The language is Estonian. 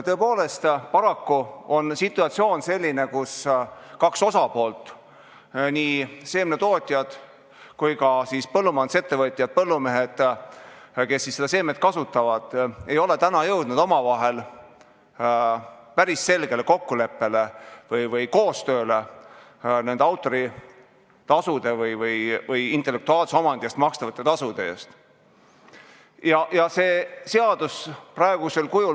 Tõepoolest, paraku on situatsioon selline, kus kaks osapoolt – seemnetootjad ja põllumajandusettevõtjad-põllumehed, kes seda seemet kasutavad – ei ole täna jõudnud omavahel päris selgele kokkuleppele või koostööle nende autoritasude või intellektuaalse omandi eest makstavate tasude suhtes.